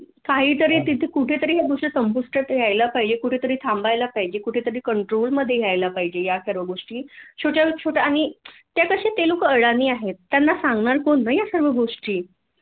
काहीतरी तिथे कुठेतरी ह्या गोष्टी संपुष्टात यायला पाहिजे कुठेतरी थांबायला पाहीजे कुठेतरी कंट्रोल मधे यायला पाहिजे या सर्व गोष्टी छोट्या न छोट्या आणि त्या कशा त्यांना कळणार नाहीय त्यांना सांगणार कोण ना या सर्व गोष्टी